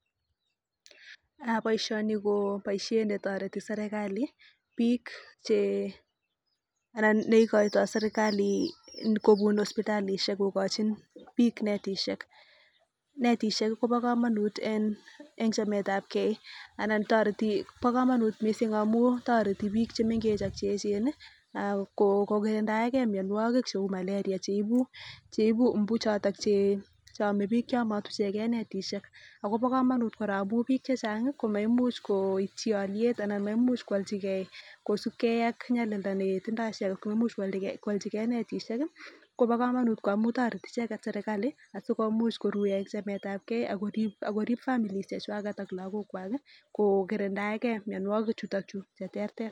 boisyoni ko boisyet netoreti serikali, bik che anan neikoitoi serikali kobut hospitalisyek kokochin bik netisyek, netisyek Kobo kamanut eng chametabken anan toreti bo kamanut mising amun toreti bik chemengech ak cheechen kikitindaenge mnyanwakik cheu maleria cheibi imbu choton cheame bik chematuchenke netisyek , akobo kamanut koraa amun bik chechang komaimuch koityi alyet anan maimuch koalchiken kosibken ak nyalilda netindo icheket, komaimuch kwalchiken netisyek, Kobo kamanut ngamun tareti cheket serikali sikomuch koruyo eng chametabken Ako rib families chechwak ak lakok kwak, kokirindaenke mnyanwakik chutochu cheterter.